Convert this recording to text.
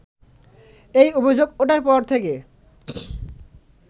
এই অভিযোগ ওঠার পর থেকে